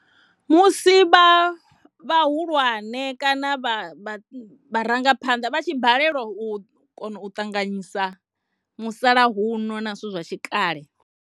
Musi vha vhahulwane kana vha vharangaphanḓa vha tshi balelwa u kona u ṱanganyisa musalauno na zwithu zwa tshi kale.